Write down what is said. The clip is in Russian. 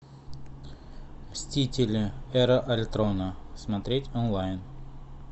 мстители эра альтрона смотреть онлайн